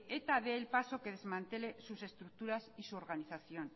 eta dé el paso que desmantele sus estructuras y su organización